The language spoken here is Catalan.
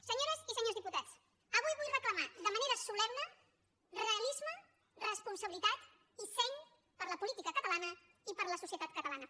senyores i senyors diputats avui vull reclamar de manera solemne realisme responsabilitat i seny per a la política catalana i per a la societat catalana